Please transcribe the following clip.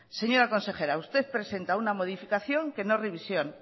señora consejera usted presenta una modificación que no es revisión